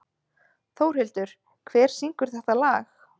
Þórhildur, hver syngur þetta lag?